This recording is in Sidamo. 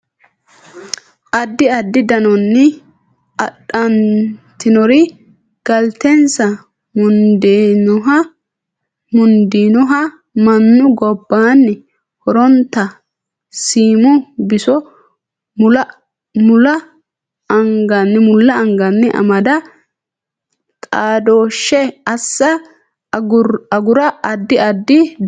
Addi addi danonni Adhantinori galtensa mundiinoha mannu gobbaanni horontanni siimu biso mulla anganni amada xaadooshshe assa agura Addi addi danonni.